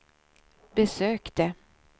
besökte